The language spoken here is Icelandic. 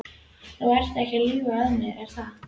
Þú ert ekki að ljúga að mér, er það?